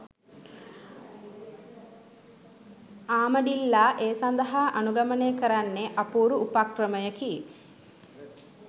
ආමඩිල්ලා ඒ සඳහා අනුගමනය කරන්නේ අපූරු උපක්‍රමයකි.